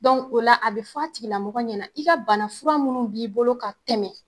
o la a bɛ fɔ a tigilamɔgɔ ɲɛna i ka banafura minnu b'i bolo ka tɛmɛ.